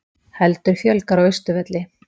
Heldur fjölgar á Austurvelli